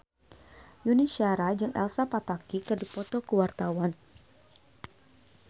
Yuni Shara jeung Elsa Pataky keur dipoto ku wartawan